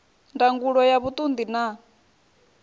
ndangulo ya vhuṱun ḓi na